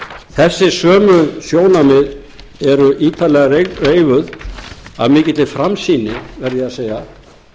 þessi sömu sjónarmið eru ítarlega reifuð af mikilli framsýni verða ég að segja